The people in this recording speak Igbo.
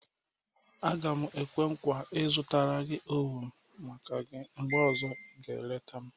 Aga m ekwe nkwa, ịzụta na oven maka gị mgbe ọzọ ị ga-eleta m.